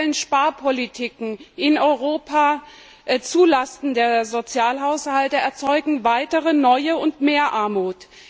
Auch die aktuellen Sparpolitiken in Europa zulasten der Sozialhaushalte erzeugen neue und mehr Armut.